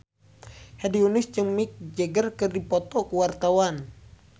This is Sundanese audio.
Hedi Yunus jeung Mick Jagger keur dipoto ku wartawan